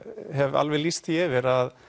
hef alveg lýst því yfir að